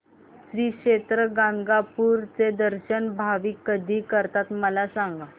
श्री क्षेत्र गाणगापूर चे दर्शन भाविक कधी करतात मला सांग